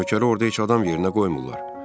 Nökəri orda heç adam yerinə qoymurlar.